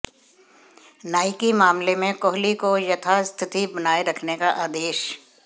Nike मामले में कोहली को यथास्थिति बनाए रखने का आदेश